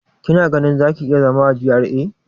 Kina ganin za ki iya zama a GRA?